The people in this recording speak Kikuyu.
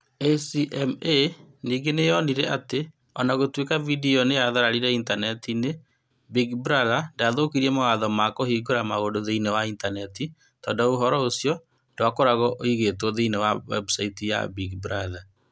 ACMA ningĩ nĩ yonire atĩ o na gũtuĩka video ĩyo nĩ yathararire Intaneti-inĩ, Big Brother ndaathũkirie mawatho ma kũhingũra maũndũ thĩinĩ wa Intaneti tondũ ũhoro ũcio ndwakoragwo ũigĩtwo thĩinĩ wa webusaiti ya Big Brother.